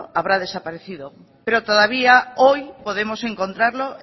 habrá desaparecido pero todavía hoy podemos encontrarlo